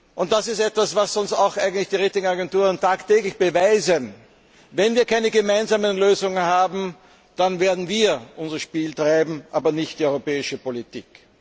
Und das ist etwas, was uns auch die Ratingagenturen tagtäglich beweisen Wenn wir keine gemeinsamen Lösungen haben, dann werden wir unser Spiel treiben, aber nicht die europäische Politik.